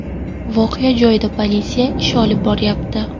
Voqea joyida politsiya ish olib boryapti.